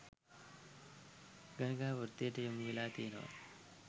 ගණිකා වෘත්තියට යොමු වෙලා තියෙනව.